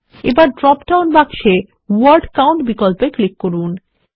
এখন ড্রপডাউন বাক্সে word count বিকল্পে ক্লিক করুন